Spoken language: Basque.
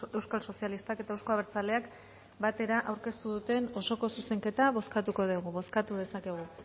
euskal sozialistak eta euzko abertzaleak batera aurkeztu duten osoko zuzenketa bozkatuko dugu bozkatu dezakegu